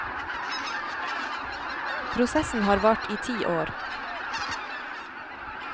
Prosessen har vart i ti år.